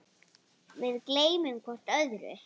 Við gleymum hvort öðru.